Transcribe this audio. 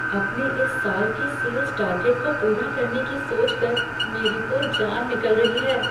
अपने इस साल के सेल्स टारगेट को पूरा करने की सोचकर मेरी तो जान निकल रही है।